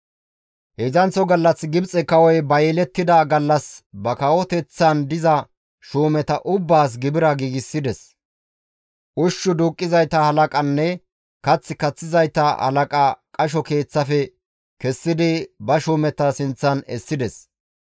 Heedzdzanththo gallas Gibxe kawoy ba yelettida gallas ba kawoteththan diza shuumeta ubbaas gibira giigsides. Ushshu duuqqizayta halaqanne kath kaththizayta halaqaa qasho keeththaafe kessidi ba shuumeta sinththan essides.